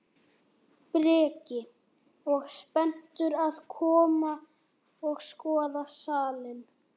Breki: Og spenntur að koma og skoða salinn?